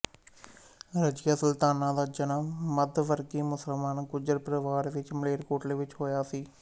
ਰਜੀਆ ਸੁਲਤਾਨਾ ਦਾ ਜਨਮ ਮੱਧਵਰਗੀ ਮੁਸਲਮਾਨ ਗੁੱਜਰ ਪਰਵਾਰ ਵਿੱਚ ਮਲੇਰਕੋਟਲਾ ਵਿੱਚ ਹੋਇਆ ਸੀ